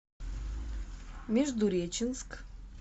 междуреченск